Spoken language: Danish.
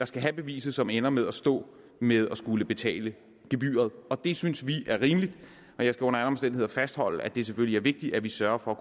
skal have beviset som ender med at stå med at skulle betale gebyret det synes vi er rimeligt og jeg skal under alle omstændigheder fastholde at det selvfølgelig er vigtigt at vi sørger for